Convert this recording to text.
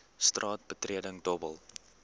straat betreding dobbel